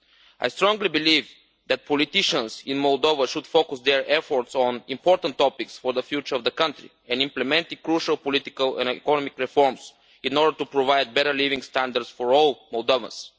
I strongly believe that politicians in Moldova should focus their efforts on important issues for the future of the country and implement crucial political and economic reforms in order to provide better living standards for all Moldovans.